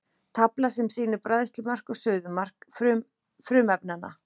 Tafla sem sýnir bræðslumark og suðumark frumefnanna.